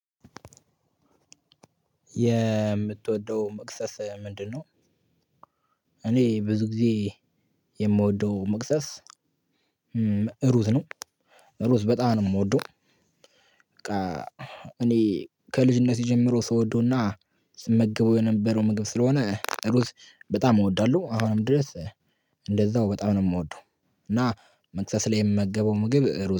የምትወደው መክሰስ ምንድነው? እኔ ብዙ ግዜ የምወደው መክሰስ ሩዝ ነው ሩዝ በጣም ነው የምወደው። በቃ እኔ ከልጅነቴ ጀምሮ ስወደውና ስመገበው የነበረው ምግብ ስለሆነ ሩዝ በጣም እወዳለሁ። አሁንም ድረስ እንደዛው በጣም ነው የምወደው። እና መክሰስ ላይ የምመገበው ምግብ ሩዝ ነው